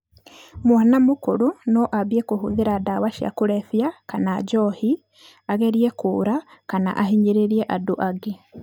Mwana mũkũrũ no ambie kũhũthĩra ndawa cia kũrebia kana njohi, agerie kũra kana ahinyĩrĩrie andũ angĩ.